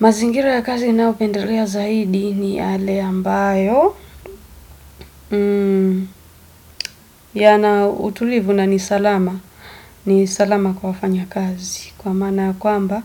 Mazingira ya kazi nnaopendelea zaidi ni yale ambayo, na utulivu, na ni salama, ni salama kwa mfanya kazi kwa maana kwamba